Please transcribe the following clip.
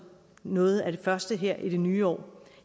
noget af det første her i det nye år